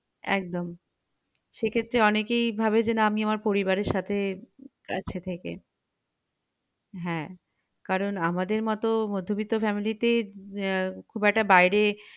একদম সেক্ষেত্রে অনেকেই ভাবে যে না আমি আমার পরিবারের সাথেই থাকছি হ্যাঁ কারণ আমাদের মত মধ্যবিত্ত family তে আহ খুব একটা বাইরে